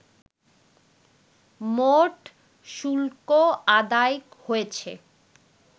মোট শুল্ক আদায় হয়েছে